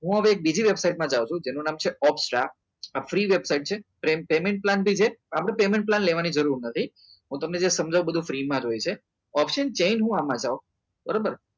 હું હવે બીજી વસ્તુ બીજી વેબસાઈટમાં જાઉં છું જેનું નામ છે ટ્રેન payment છે આપણે payment લેવાની જરૂર નથી હું તમને જે સમજાવું એ બધું ફ્રી માં હોય છે બધું option બરાબર